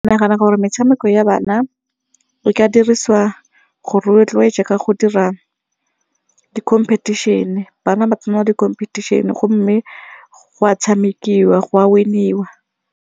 Ke nagana gore metshameko ya bana e ka dirisiwa go rotloetsa ka go dira di-competition, bana ba tsena di-competition gomme go a tshamekiwa go a win-iwa.